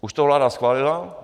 Už to vláda schválila?